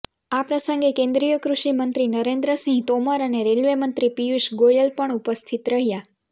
આ પ્રસંગે કેન્દ્રીય કૃષિ મંત્રી નરેન્દ્રસિંહ તોમર અને રેલ્વે મંત્રી પિયુષ ગોયલ પણ ઉપસ્થિત રહ્યા